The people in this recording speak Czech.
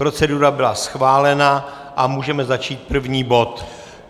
Procedura byla schválena a můžeme začít první bod.